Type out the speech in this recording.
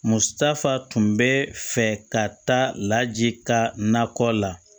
Musotaf be fɛ ka taa laji ka nakɔ la